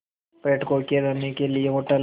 पर्यटकों के रहने के लिए होटल